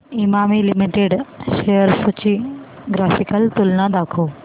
Emami limited shares ची graphical तुलना दाखव